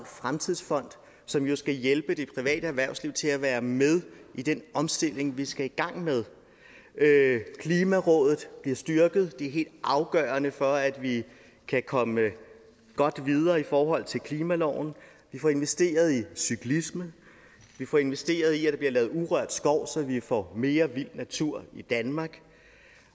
fremtidsfond som jo skal hjælpe det private erhvervsliv til at være med i den omstilling vi skal i gang med klimarådet bliver styrket det er helt afgørende for at vi kan komme godt videre i forhold til klimaloven vi får investeret i cyklisme vi får investeret i at der bliver lavet urørt skov så vi får mere vild natur i danmark